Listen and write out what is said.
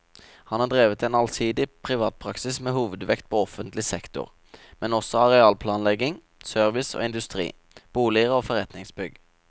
Han har drevet en allsidig privatpraksis med hovedvekt på offentlig sektor, men også arealplanlegging, service og industri, boliger og forretningsbygg.